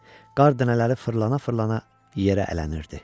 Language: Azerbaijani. Qar dənələri fırlana-fırlana yerə ələnirdi.